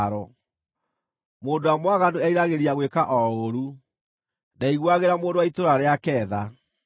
Mũndũ ũrĩa mwaganu eriragĩria gwĩka o ũũru; ndaiguuagĩra mũndũ wa itũũra rĩake tha.